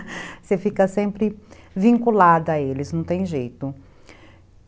Você fica sempre vinculada a eles, não tem jeito.